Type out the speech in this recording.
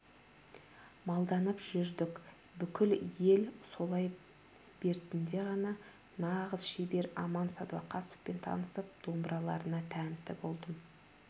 малданып жүрдік бүкіл ел солай бертінде ғана нағыз шебер аман сәдуақасовпен танысып домбыраларына тәнті болдым